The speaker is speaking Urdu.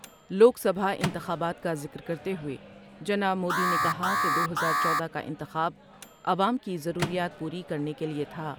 لوک سبھا انتخابات کا ذکر کرتے ہوۓ جناب مودی نے کہا کہ کا دو ہزار بیس انتخاب عوام کی ضروریات پوری کرنے کے لئے تھا ۔